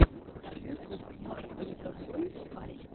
ютуб марк легобой альт